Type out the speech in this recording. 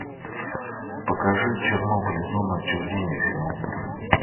покажи чернобыль зона отчуждения финал